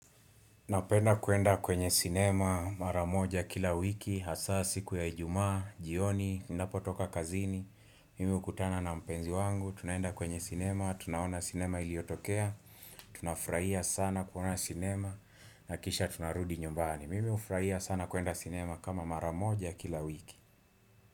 Napenda kuenda kwenye cinema maramoja kila wiki, hasa siku ya ijumaa, jioni, ninapo toka kazini, mimi hukutana na mpenzi wangu, tunaenda kwenye cinema, tunaona cinema iliyotokea, tunafurahia sana kuona cinema, na kisha tunarudi nyumbani, mimi hufurahia sana kuenda cinema kama mara moja kila wiki.